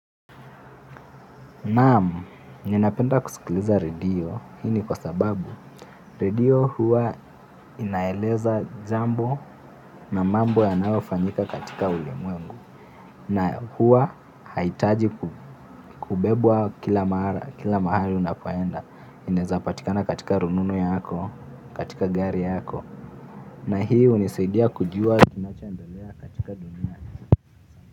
Naam, ninapenda kusikiliza radio, hii ni kwa sababu radio huwa inaeleza jambo na mambo yanayofanyika katika ulimwengu na huwa haiitaji kubebwa kila mahali unapoenda, inaezapatikana katika rununu yako, katika gari yako na hii unisaidia kujua kinachoendelea katika dunia.